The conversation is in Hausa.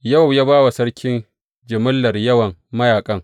Yowab ya ba wa sarki jimillar yawan mayaƙan.